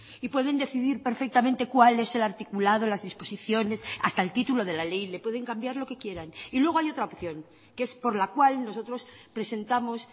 y pueden decidir perfectamente cuál es el articulado las disposiciones hasta el título de la ley le pueden cambiar lo que quieran y luego hay otra opción que es por la cual nosotros presentamos